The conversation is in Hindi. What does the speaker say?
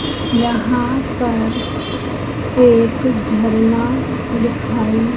यहां पर एक झरना दिखाई--